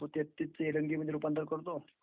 तेहत्तीस चे is not clear रूपांतर करतो..